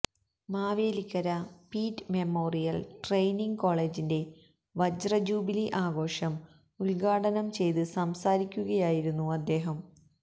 Mavelikkara Peet memorial training കോളേജിന്റെ വജ്രജൂബിലി ആഘോഷം ഉദ്ഘാടനം ചെയ്ത് സംസാരിക്കുകയായിരുന്നു അദ്ദേഹം